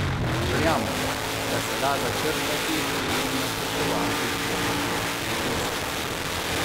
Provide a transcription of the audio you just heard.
Verjamem, da se da začrtati in načrtovati pot do vrhunskosti.